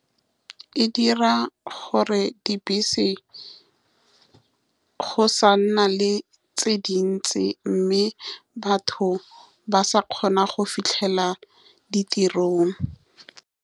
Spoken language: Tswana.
E dira gore dibese go sa nna le tse dintsi, mme batho ba sa kgona go fitlhela ditirong.